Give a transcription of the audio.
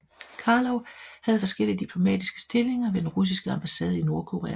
Karlov havde forskellige diplomatiske stillinger ved den russiske ambassade i Nordkorea